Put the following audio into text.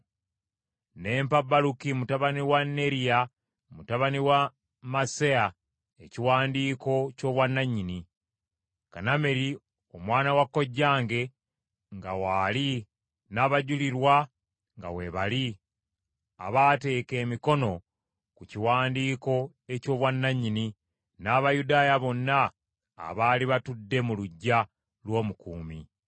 Ne mpa Baluki mutabani wa Neriya mutabani wa Maseya ekiwandiiko ky’obwannannyini, Kanameri omwana wa kojjange nga waali n’abajulirwa nga weebali abaateeka emikono ku kiwandiiko eky’obwannannyini n’Abayudaaya bonna abaali batudde mu luggya lw’omukuumi.